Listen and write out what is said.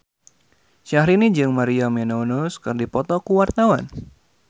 Syahrini jeung Maria Menounos keur dipoto ku wartawan